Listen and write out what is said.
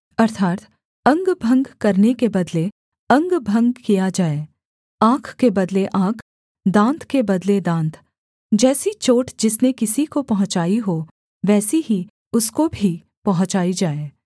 अर्थात् अंगभंग करने के बदले अंगभंग किया जाए आँख के बदले आँख दाँत के बदले दाँत जैसी चोट जिसने किसी को पहुँचाई हो वैसी ही उसको भी पहुँचाई जाए